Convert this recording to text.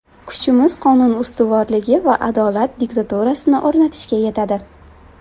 Kuchimiz qonun ustuvorligi va adolat diktaturasini o‘rnatishga yetadi.